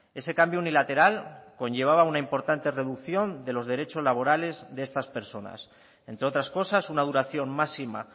ese cambio unilateral conllevaba una importante reducción de los derechos laborales de estas personas entre otras cosas una duración máxima